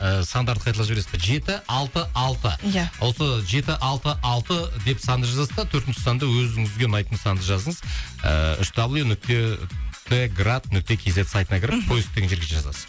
ыыы сандарды қайталап жібересіз бе жеті алты алты иә осы жеті алты алты деп санды жазасыз да төртінші санды өзіңізге ұнайтын санды жазыңыз ыыы үш дабл ю нүкте т град нүкте кз сайтына кіріп мхм поиск деген жерге жазасыз